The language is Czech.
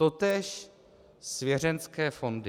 Totéž svěřenecké fondy.